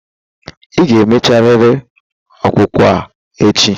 Ị ga emecharịrị ọkpụkpụ a echi.